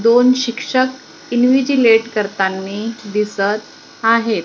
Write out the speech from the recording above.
दोन शिक्षक इन्व्हिजीलेट करतांनी दिसत आहेत.